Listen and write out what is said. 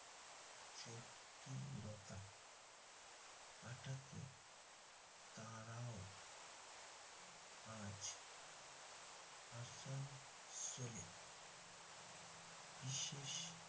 জটিলতা কাটাতে তারাও আজ আসানসোলে বিশেষ